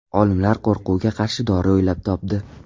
Olimlar qo‘rquvga qarshi dori o‘ylab topdi.